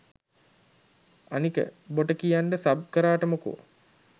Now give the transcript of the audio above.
අනික බොට කියන්න සබ් කරාට මොකෝ